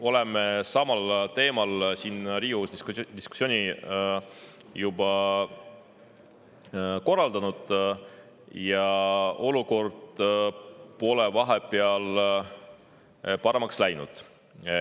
Oleme samal teemal siin Riigikogus diskussiooni juba korraldanud, aga olukord pole vahepeal paremaks läinud.